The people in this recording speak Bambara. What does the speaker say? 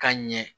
Ka ɲɛ